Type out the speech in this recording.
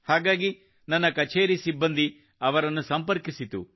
ಹಾಗಾಗಿ ನನ್ನ ಕಛೇರಿ ಸಿಬ್ಬಂದಿ ಅವರನ್ನು ಸಂಪರ್ಕಿಸಿತು